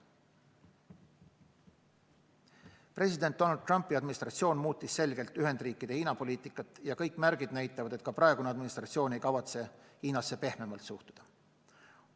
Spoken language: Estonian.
President Donald Trumpi administratsioon muutis selgelt Ühendriikide Hiina-poliitikat ja kõik märgid näitavad, et ka praegune administratsioon ei kavatse Hiinasse pehmemalt suhtuda.